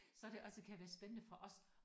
Så det også kan være spændende for os